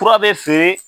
Fura bɛ feere